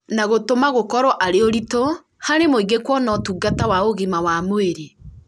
na gũtũma gũkorwo arĩ ũritũ harĩ mũingĩ kuona ũtungata wa ũgima wa mwĩrĩ